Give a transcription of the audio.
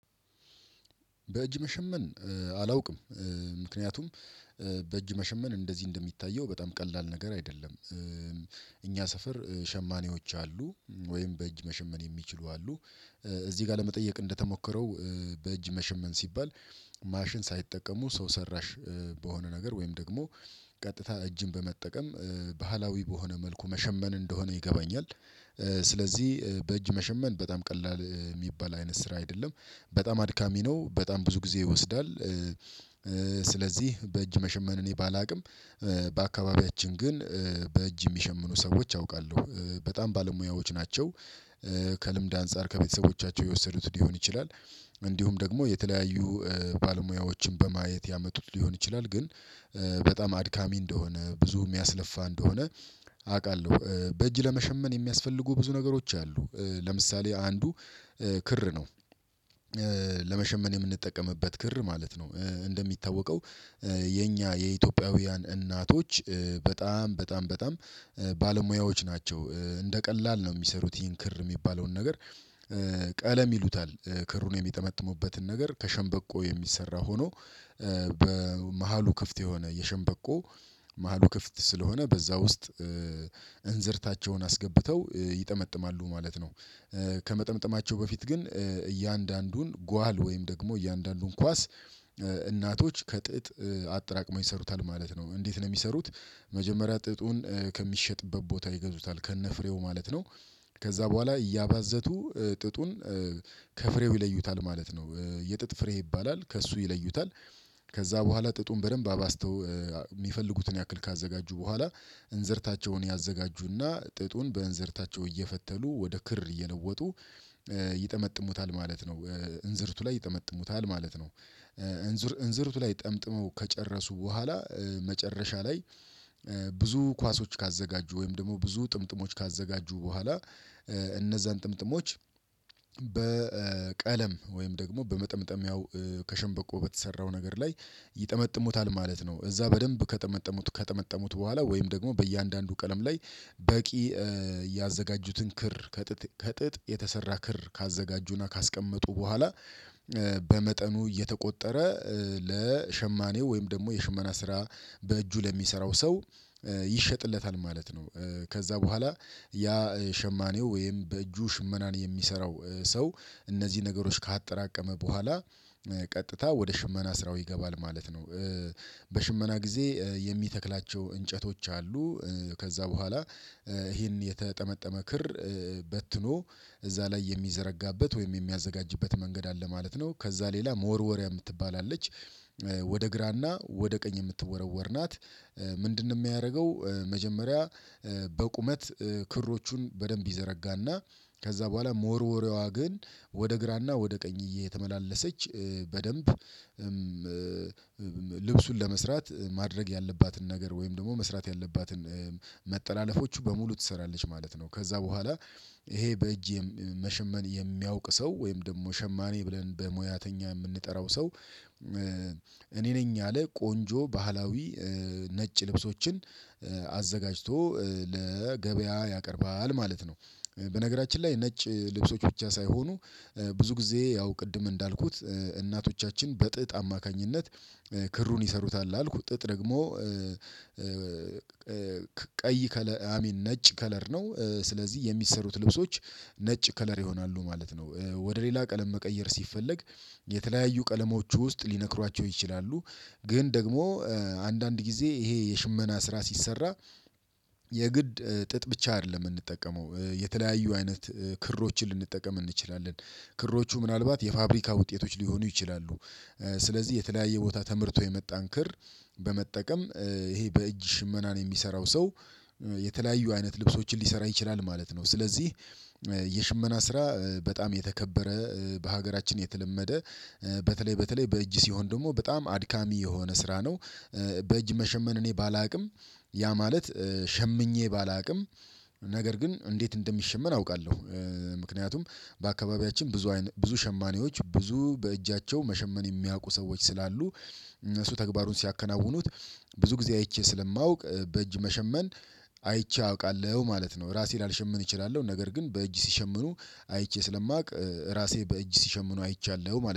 በእጅ መሸመን አላውቅም ምክንያቱም በእጅ መሸመን እንደዚህ እንደሚታየው በጣም ቀላል ነገር አይደለም እኛ ሰፈር ሸማኔዎች አሉ ወይም በእጅ መሸመን የሚችሉ አሉ በእጅ መሸመን አላውቅም ምክንያቱም በእጅ መሸመን እንደዚህ እንደሚታየው በጣም ቀላል ነገር አይደለም። እኛ ሰፈር ሸማኔዎች አሉ ወይም በእጅ መሸመን የሚችሉ አሉ። እዚህ ጋር ለመጠየቅ እንደተሞከረው በእጅ መሸመን ሲባል ማሽን ሳይጠቀሙ ሰው ሰራሽ በሆነ ነገር ወይም ደግሞ ቀጥታ እጅን በመጠቀም ባህላዊ በሆነ መልኩ መሸመን እንደሆነ ይገባኛል። ስለዚህ በእጅ መሸመን በጣም ቀላል የሚባል አይነት ስራ አይደለም በጣም አድካሚ ነው በጣም ብዙ ጊዜ ይወስዳል። ስለዚህ በእጅ መሸመን እኔ ባላውቅም በአካባቢያችን ግን በእጅ የሚሸምኑ ሰዎች አውቃለሁ በጣም ባለሙያዎች ናቸው። ከልምድ አንፃር ከቤተሰቦቻቸው የወሰዱት ሊሆን ይችላል እንዲሁም ደግሞ የተለያዩ ባለሙያዎችን በማየት ያመጡት ሊሆን ይችላል ግን። በጣም አድካሚ እንደሆነ ብዙ የሚያለፋ እንደሆነ አውቃለሁ በእጅ ለመሸመን የሚያስፈልጉ ብዙ ነገሮች አሉ ለምሳሌ አንዱ ክር ነው። ለመሸመን የምንጠቀምበት ክር ማለት ነው። እንደሚታወቀው የኛ የኢትዮጵያውያን እናቶች በጣም በጣም በጣም ባለሙያዎች ናቸው እንደ ቀላል ነው የሚሰሩት ይህን ክር የሚባለውን ነገር ቀለም ይሉታል። ክሩን የሚጠመጥሙበትን ነገር ከሸንበቆ የሚሰራ ሆኖ በመሃሉ ክፍት የሆነ የሸንበቆ መሃሉ ክፍት ስለሆነ በዛ ውስጥ እንዝርታቸውን አስገብተው ይጠመጥማሉ ማለት ነው። ከመጠምጠማቸው በፊት ግን እያንዳንዱን ጓል ወይም ደግሞ እያንዳንዱን ኳስ እናቶች ከጥጥ አጥራቅመው ይሰሩታል ማለት ነው። እንዴት ነው የሚሰሩት? መጀመሪያ ጥጡን ከሚሸጥበት ቦታ ይገዙታል ከነ ፍሬው ማለት ነው። ከዛ በኋላ እያባዘቱ ጥጡን ከፍሬው ይለዩታል ማለት ነው የጥጥ ፍሬ ይባላል ከእሱ ይለዩታል። ከዛ በኋላ ጥጡን በደንብ አባዝተው የሚፈልጉትን ያክል ካዘጋጁ በኋላ እንዘርታቸውን ያዘጋጁና ጥጡን በእንዘርታቸው እየፈተሉ ወደ ክር እየለወጡ። ይጠመጥሙታል ማለት ነው እንዝርቱ ላይ ይጠመጥሙታል ማለት ነው። እንዝርቱ ላይ ጠምጥመው ከጨረሱ በኋላ መጨረሻ ላይ እነዛን ጥምጥሞች። በቀለም ወይም ደግሞ በመጠምጠም ያው ከሸንበቆ በተሰራው ነገር ላይ ይጠመጥሙታል ማለት ነው። እዛ በደንብ ከጠመጠሙት ከጠመጠሙት በኋላ ወይም ደግሞ በእያንዳንዱ ቀለም ላይ በቂ ያዘጋጁትን ክር ከጥጥ የተሰራ ክር ካዘጋጁና ካስቀመጡ በኋላ በመጠኑ እየተቆጠረ ለሸማኔው ወይም ደግሞ የሽመና ስራ በእጁ ለሚሰራው ሰው ይሸጥለታል ማለት ነው። ከዛ በኋላ ያ ሸማኔው ወይም በእጁ ሽመናን የሚሰራው ሰው እነዚህ ነገሮች ካጠራቀመ በኋላ ቀጥታ ወደ ሽመና ስራው ይገባል ማለት ነው። በሽመና ጊዜ የሚተክላቸው እንጨቶች አሉ ከዛ በኋላ ይሄን የተጠመጠመ ክር በትኖ እዛ ላይ የሚዘረጋበት ወይም የሚያዘጋጅበት መንገድ አለ ማለት ነው። ከዛ ሌላ መወርወሪያ የምትባል አለች። ወደ ግራና ወደ ቀኝ የምትወረወር ናት። ምንድን የሚያደርገው መጀመሪያ በቁመት ክሮቹን በደንብ ይዘረጋና ከዛ በኋላ መወርዎሪያዋ ግን ወደ ግራና ወደ ቀኝ እየተመላለሰች በደንብ። ልብሱን ለመስራት ማድረግ ያለባትን ነገር ወይም ደግሞ መስራት ያለባትን መጠላለፎቹ በሙሉ ትሰራለች ማለት ነው። ከዛ በኋላ ይሄ በእጄ መሸመን የሚያውቅ ሰው ወይም ደግሞ ሸማኔ ብለን በሙያተኛ የምንጠራው ሰው። እኔ ነኝ ያለ ቆንጆ ባህላዊ ነጭ ልብሶችን አዘጋጅቶ ለገበያ ያቀርባል ማለት ነው። በነገራችን ላይ ነጭ ልብሶች ብቻ ሳይሆኑ ብዙ ጊዜ ያው ቅድም እንዳልኩት እናቶቻችን በጥጥ አማካኝነት። ክሩን ይሰሩታል አልኩት ጥጥ ደግሞ። ቀይ ከለ አይ ሚን ነጭ ከለር ነው ስለዚህ የሚሰሩት ልብሶች ነጭ ከለር ይሆናሉ ማለት ነው። ወደ ሌላ ቀለም መቀየር ሲፈለግ የተለያዩ ቀለሞች ውስጥ ሊነክሯቸው ይችላሉ። ግን ደግሞ አንዳንድ ጊዜ ይሄ የሽመና ስራ ሲሰራ የግድ ጥጥ ብቻ አይደለም የምንጠቀመው የተለያዩ አይነት ክሮችን ልንጠቀም እንችላለን። ክሮቹ ምናልባት የፋብሪካ ውጤቶች ሊሆኑ ይችላሉ። ስለዚህ የተለያየ ቦታ ተመርቶ የመጣን ክር በመጠቀም ይሄ በእጅ ሽመናን የሚሰራው ሰው የተለያዩ አይነት ልብሶችን ሊሰራ ይችላል ማለት ነው። ስለዚህ የሽመና ስራ በጣም የተከበረ በሀገራችን የተለመደ በተለይ በተለይ በእጅ ሲሆን ደግሞ በጣም አድካሚ የሆነ ስራ ነው። በእጅ መሸመን እኔ ባላውቅም ያ ማለት ሸምኜ ባላውቅም ነገር ግን እንዴት እንደሚሸመን አውቃለሁ። ምክንያቱም በአካባቢያችን ብዙ ብዙ ሸማኔዎች ብዙ በእጃቸው መሸመን የሚያውቁ ሰዎች ስላሉ። እነሱ ተግባሩን ሲያከናውኑት ብዙ ጊዜ አይቼ ስለማውቅ በእጅ መሸመን አይቼ አውቃለሁ ማለት ነው። ራሴን ላልሸመን እችላለሁ ነገር ግን በእጅ ሲሸምኑ አይቼ ስለማውቅ ራሴ በእጅ ሲሸምኑ አይቻለሁ ማለት ነው